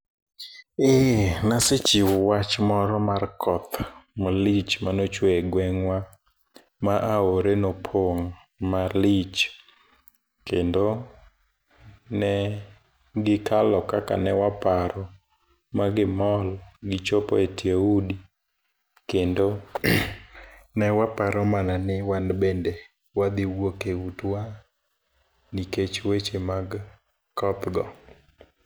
Ee, nasechiwo wach moro mar koth malich mane ochwe e gwengwa. Ma aore nopong' malich, kendo ne gikalo kaka ne waparo, ma gimol gichopo e tie udi. Kendo ne waparo mana ni wan bende wadhi wuok e utewa nikech weche mag koth go.